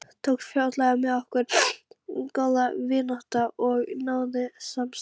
Tókst fljótlega með okkur góð vinátta og náið samstarf.